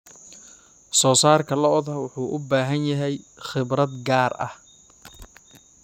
Soosaarka lo'da lo'da wuxuu u baahan yahay khibrad gaar ah.